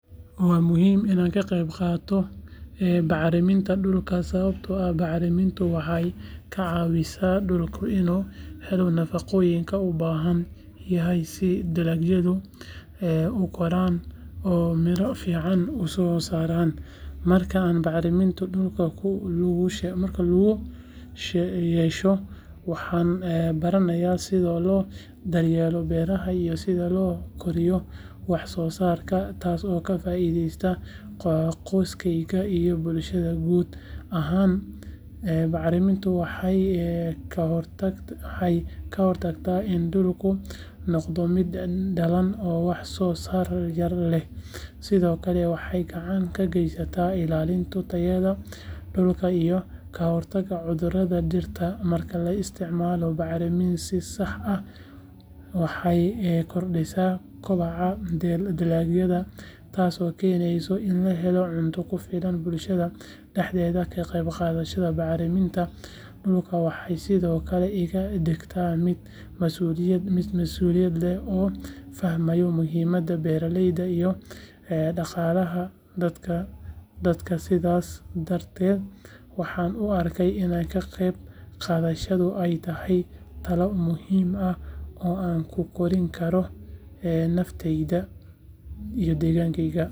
Waa muhiim in aan ka qayb qaato bacriminta dhulka sababtoo ah bacrimintu waxay ka caawisaa dhulka inuu helo nafaqooyinka uu u baahan yahay si dalagyada u koraan oo miro fiican u soo saaraan marka aan bacriminta dhulka ku lug yeesho waxaan baranayaa sida loo daryeelo beeraha iyo sida loo kordhiyo wax soo saarka taasoo ka faa’iideysa qoyskeyga iyo bulshada guud ahaan bacrimintu waxay ka hortagtaa in dhulku noqdo mid daallan oo wax soo saar yar leh sidoo kale waxay gacan ka geysataa ilaalinta tayada dhulka iyo ka hortagga cudurada dhirta marka la isticmaalo bacriminta si sax ah waxay kordhisaa kobaca dalagyada taasoo keenaysa in la helo cunto ku filan bulshada dhexdeeda ka qayb qaadashada bacriminta dhulka waxay sidoo kale iga dhigtaa mid masuuliyad leh oo fahmaya muhiimadda beeralayda iyo dhaqaalaha dalka sidaas darteed waxaan u arkaa in ka qayb qaadashadani ay tahay tallaabo muhiim ah oo aan ku hormarin karo naftayda iyo deegaanka.